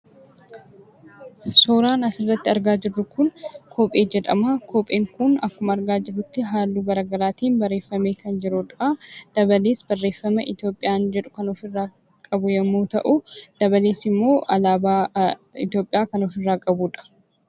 Suuraan asirratti argaa jirru kun kophee jedhamaa kopheen kun akkuma argaa jirrutti haalluu garagaraatiin barreefamee kan jirudha. Dabalees barreeffama itoopiyaan jedhu kan ofirraa qabu yommuu ta'uu dabalees ammoo alaabaa itoopiyaa kan ofirraa qabudha.